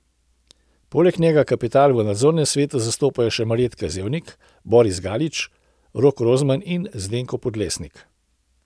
Poleg njega kapital v nadzornem svetu zastopajo še Marjeta Zevnik, Boris Galić, Rok Rozman in Zdenko Podlesnik.